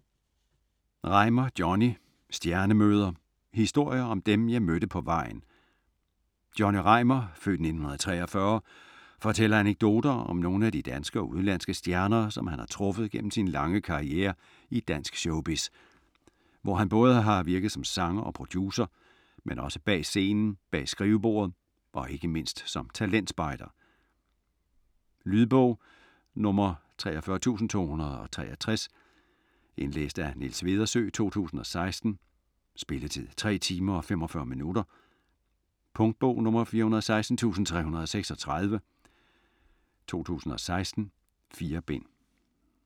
Reimar, Johnny: Stjernemøder: historier om dem, jeg mødte på vejen Johnny Reimar (f. 1943) fortæller anekdoter om nogle af de danske og udenlandske stjerner, som han har truffet gennem sin lange karrierre i dansk showbiz, hvor han både har virket som sanger og producer, men også bag scenen, bag skrivebordet og ikke mindst som talentspejder. Lydbog 43263 Indlæst af Niels Vedersø, 2016. Spilletid: 3 timer, 45 minutter. Punktbog 416336 2016. 4 bind.